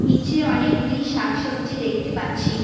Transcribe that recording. নীচে অনেকগুলি শাকসবজি দেখতে পাচ্ছি।